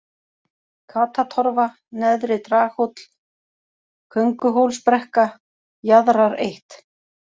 Katatorfa, Neðri-Draghóll, Könguhólsbrekka, Jaðrar 1